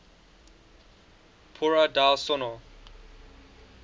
paura del sonno